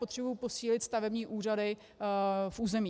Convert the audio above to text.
Potřebuji posílit stavební úřady v území.